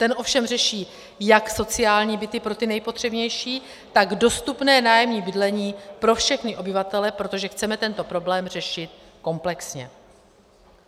Ten ovšem řeší jak sociální byty pro ty nejpotřebnější, tak dostupné nájemní bydlení pro všechny obyvatele, protože chceme tento problém řešit komplexně.